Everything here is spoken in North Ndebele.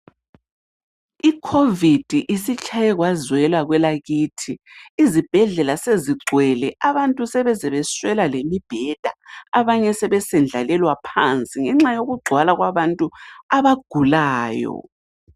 Icovid isitshaye kwazwela kwelakithi, izibhedlela sezigcwele. Abantu sebeze beswela lemibheda abanye sebesendlalelwa phansi ngenxa yokugcwala kwabantu abagulayo.